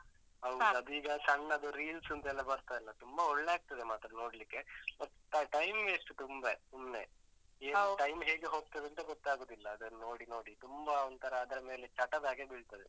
ಹೌದು. ಅದೀಗ ಸಣ್ಣದು reels ಅಂತೆಲ್ಲ ಬರ್ತದಲ್ಲ, ತುಂಬ ಒಳ್ಳೆ ಆಗ್ತದೆ ಮಾತ್ರ ನೋಡ್ಲಿಕ್ಕೆ. ಹೊತ್ತ time waste ತುಂಬ, ಸುಮ್ನೆ. ಈಗ time ಹೇಗೆ ಹೋಗ್ತದಂತ ಗೊತ್ತಾಗುದಿಲ್ಲ, ಅದನ್ನು ನೋಡಿ, ನೋಡಿ ತುಂಬ ಒಂತರ ಅದ್ರ ಮೇಲೆ ಚಟದ ಹಾಗೆ ಬೀಳ್ತದೆ.